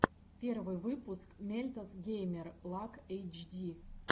первый выпуск мельтос геймер лак эйтчди